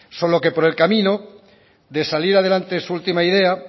solo que por el camino de salir adelante su última idea